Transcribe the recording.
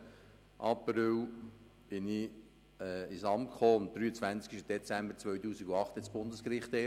Am 1. April kam ich ins Amt, und erst am 23. Dezember 2008 entschied das Bundesgericht.